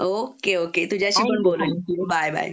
okay okay तुझ्याशी पण बोलून बाय बाय